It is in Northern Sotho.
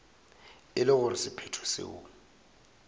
e le gore sephetho seo